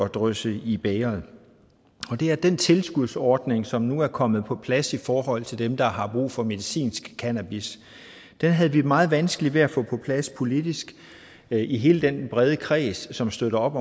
drysse i bægeret og det er den tilskudsordning som nu er kommet på plads i forhold til dem der har brug for medicinsk cannabis den havde vi meget vanskeligt ved at få på plads politisk i hele den brede kreds som støtter op